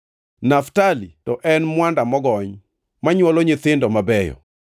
“Naftali to en mwanda mogony, ma nywolo nyithindo mabeyo.